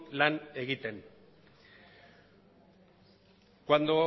lan egiten cuando